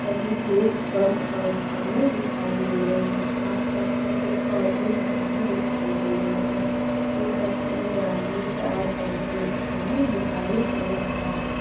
सभी गेट बंद अवस्था में दिखाई दे रहे हैं आसपास मैं कुछ और भी मकाने दिखाई दे रहे है ऊपर में जालीदार वेंटीलेटर बना दिखाई दे रहा है।